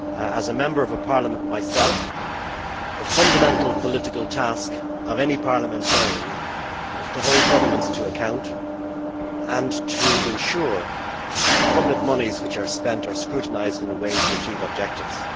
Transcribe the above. As a Member of a parliament myself, the fundamental political task of any parliamentarian is to hold governments to account and to ensure that public monies which are spent are scrutinised in a way to achieve objectives.